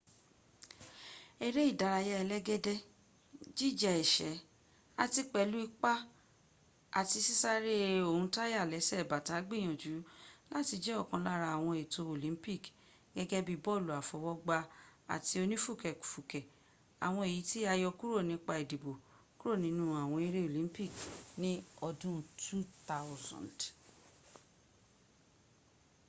eré́ ìdárayà ẹlẹ́gẹ́dẹ́ jíja ẹ̀sẹ́ àti pẹ̀lú ìpá àti sisare ohun táyà lẹ́sẹ̀ bàtà gbìyànjú láti jẹ́ òkan lára ́àwọǹ ètò olympicgẹ́gẹ́ bi bọlu àfọwọ́gbá ati onì fùkẹ̀fùkẹ̀,́ àwọǹ èyí tí a yọkúrò nípa ìdìbò kúrò nínú àwọn eré olympici ní ọdún 200